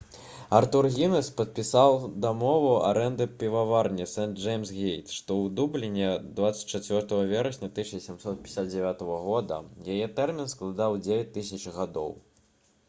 артур гінес падпісаў дамову арэнды піваварні сэнт-джэймс-гейт што ў дубліне ірландыя 24 верасня 1759 г. яе тэрмін складаў 9 000 гадоў